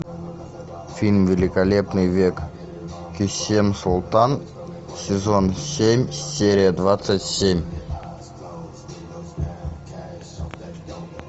фильм великолепный век кесем султан сезон семь серия двадцать семь